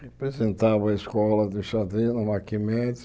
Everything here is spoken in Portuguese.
Representava a escola de xadrez no Macky Mendes.